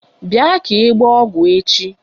Bịa ka ị gbaa ọgwụ echi!